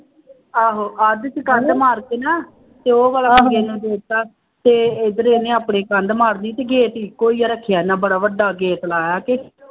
ਆਹੋ ਅੱਧ ਚ ਕੰਧ ਮਾਰ ਕੇ ਨਾ ਅਤੇ ਉਹ ਵਾਲਾ ਨੂੰ ਦੇ ਦਿੱਤਾ ਅਤੇ ਇੱਧਰ ਇਹਨੇ ਆਪਣੇ ਕੰਧ ਮਾਰ ਲਈ ਸੀਗੀ, ਗੇਟ ਇੱਕੋ ਹੀ ਰੱਖਿਆ ਇਹਨਾ ਬੜਾ ਵੱਡਾ ਗੇਟ ਲਾਇਆ ਅਤੇ